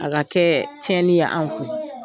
A ka kɛ tiɲɛni ye anw kun.